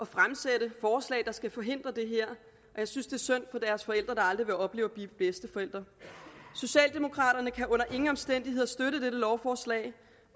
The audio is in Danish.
fremsætte forslag der skal forhindre det og jeg synes det er synd for deres forældre der aldrig vil opleve at blive bedsteforældre socialdemokraterne kan under ingen omstændigheder støtte dette lovforslag